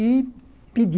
E pedi.